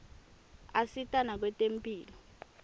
asita nakwetemphilo